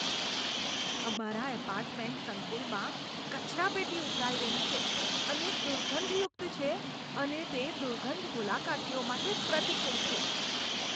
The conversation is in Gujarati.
અમારા એપાર્ટમેન્ટ સંકુલમાં કચરાપેટી ઉભરાઈ રહી છે અને દુર્ગંધયુક્ત છે અને તે દુર્ગંધ મુલાકાતીઓ માટે પ્રતિકૂળ છે.